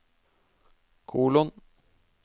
kolon